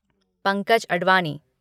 Pankaj Advani